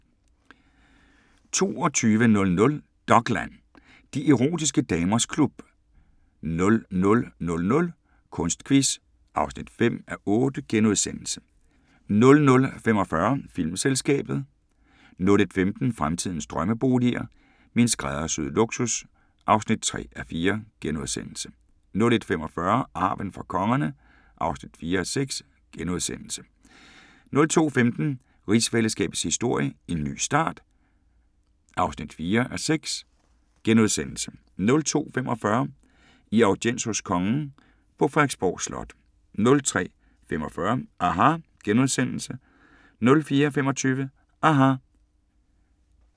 22:00: Dokland: De erotiske damers klub 00:00: Kunstquiz (5:8)* 00:45: Filmselskabet * 01:15: Fremtidens drømmeboliger: Min skræddersyede luksus (3:4)* 01:45: Arven fra kongerne (4:6)* 02:15: Rigsfællesskabets historie: En ny start (4:6)* 02:45: I audiens hos kongen på Frederiksborg Slot 03:45: aHA! * 04:25: aHA!